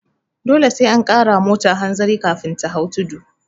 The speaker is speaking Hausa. Dole sai an kara wa mota hanzari kafin ta hau tudu